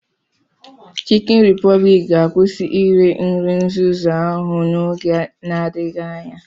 Chikin Repobliki ga-akwụsị ire nri nzuzu ahụ n'oge n'adịghị anya.